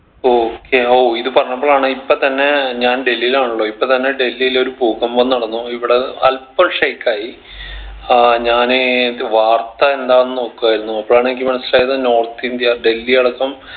okay ഓ ഇത് പറഞ്ഞപ്പളാണ് ഇപ്പൊ തന്നെ ഞാൻ ഡൽഹിലാണല്ലോ ഇപ്പൊ തന്നെ ഡൽഹിൽ ഒരു ഭൂകമ്പം നടന്നു ഇവിടെ അൽപ്പം shake ആയി അഹ് ഞാന് റ്റ് വാർത്ത എന്താന്ന് നോക്കുവായിരുന്നു അപ്പോഴാണ് എനിക്ക് മനസ്സിലായത് north ഇന്ത്യ ഡൽഹി അടക്കം